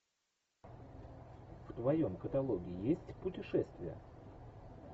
в твоем каталоге есть путешествия